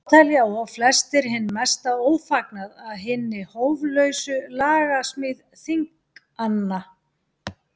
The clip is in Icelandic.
Þá telja og flestir hinn mesta ófagnað að hinni hóflausu lagasmíð þinganna.